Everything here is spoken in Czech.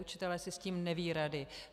Učitelé si s tím nevědí rady.